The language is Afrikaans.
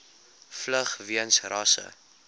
vlug weens rasse